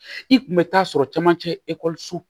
I kun bɛ taa sɔrɔ camancɛ ekɔliso